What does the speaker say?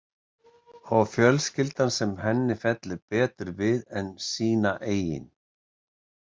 Og fjölskylda sem henni fellur betur við en sína eigin.